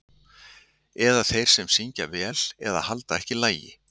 Eða þeir sem syngja vel eða halda ekki lagi.